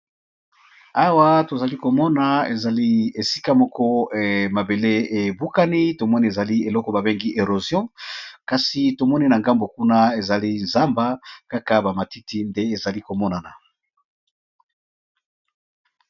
Awa tozali komona ezali esika moko mabele ebukani tomoni ezali eloko babengi erosion kasi tomoni na ngambo kuna ezali zamba kaka bamatiti nde ezali komonana.